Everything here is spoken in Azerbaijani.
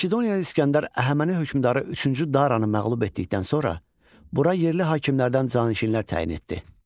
Makedoniyalı İsgəndər Əhəməni hökmdarı üçüncü Daranı məğlub etdikdən sonra bura yerli hakimlərdən canişinlər təyin etdi.